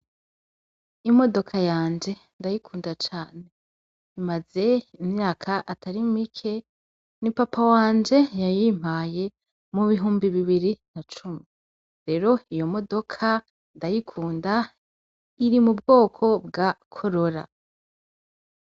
Imodoka yanje ndayikunda cane; imaze imyaka atari mike, ni papa wanje yayimpaye mu bihumbi bibiri na cumi; rero iyo modoka ndayikunda, iri mu bwoko bwa korora.